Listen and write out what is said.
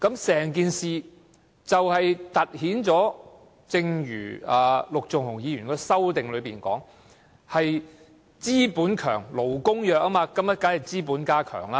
這凸顯了——正如陸頌雄議員的修正案所述——"強資本，弱勞工"的情況。